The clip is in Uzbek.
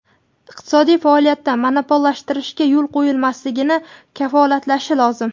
iqtisodiy faoliyatda monopollashtirishga yo‘l qo‘yilmasligini kafolatlashi lozim.